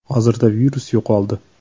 “Hozirda virus yo‘qoldi.